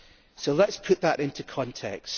So let us put that into context.